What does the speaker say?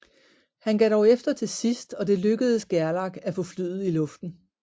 Han gav dog efter til sidst og det lykkedes Gerlach at få flyet i luften